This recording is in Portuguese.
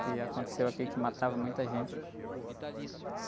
Que aconteceu aqui, que matava muita gente.